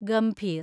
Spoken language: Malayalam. ഗംഭീർ